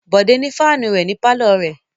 Bòdé ní fáánù ní pálọ̀ rẹ̀.